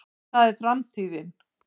það var framtíðin.